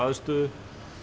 að stöðu